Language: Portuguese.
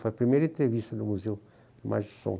Foi a primeira entrevista no Museu da Imagem do Som.